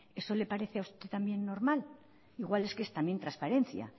eso le parece a usted también normal igual es que es también transparencia